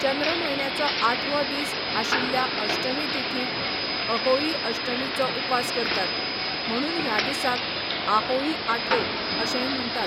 चंद्र म्हयन्याचो आठवो दीस आशिल्ल्या अष्टमी तिथिंत अहोई अष्टमीचो उपास करतात म्हणून ह्या दिसाक आहोई आठे अशेंय म्हण्टात.